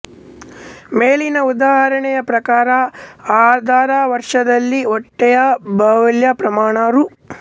ಮೇಲಿನ ಉದಾಹರಣೆಯ ಪ್ರಕಾರ ಆಧಾರವರ್ಷದಲ್ಲಿ ಬಟ್ಟೆಯ ಮೌಲ್ಯ ಪ್ರಮಾಣ ರೂ